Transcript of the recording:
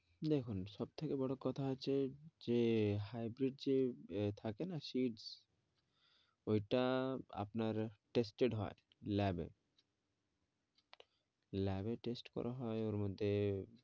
দেখুন সব থেকে বড়ো কথা হচ্ছে যে hybrid যে থাকে না seeds ওই টা আপনার tested হয় lab এ lab এ test করা হয় ওর মধ্যে